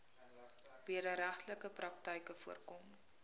wederregtelike praktyke voorkom